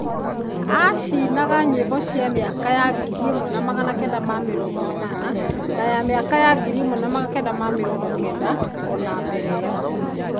Aacinaga nyĩmbo icio mĩaka-inĩ ya 1980 na ya 1990 o na mbere ĩyo.